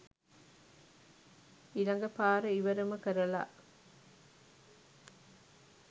ඉලගපාර ඉවරම කරලා